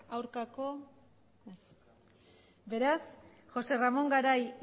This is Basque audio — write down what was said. aurka ez beraz josé ramón garai